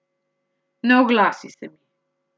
Ne oglasi se mi.